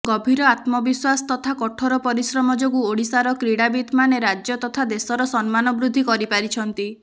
ଗଭୀର ଆତ୍ମବିଶ୍ୱାସ ତଥା କଠୋର ପରିଶ୍ରମ ଯୋଗୁଁ ଓଡ଼ିଶାର କ୍ରୀଡ଼ାବିତମାନେ ରାଜ୍ୟ ତଥା ଦେଶର ସମ୍ମାନ ବୃଦ୍ଧି କରିପାରିଛନ୍ତି